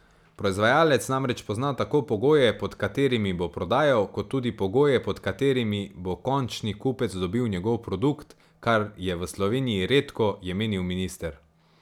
Proizvajalec namreč pozna tako pogoje, pod katerimi bo prodajal, kot tudi pogoje, pod katerimi bo končni kupec dobil njegov produkt, kar je v Sloveniji redko, je menil minister.